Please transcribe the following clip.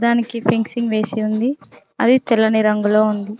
దానికి పెంగ్సింగ్ వేసి ఉంది అది తెల్లని రంగులో ఉంది.